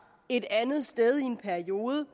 et andet sted i en periode